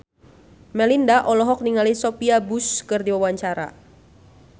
Melinda olohok ningali Sophia Bush keur diwawancara